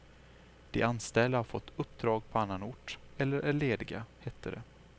De anställda har fått uppdrag på annan ort eller är lediga, hette det.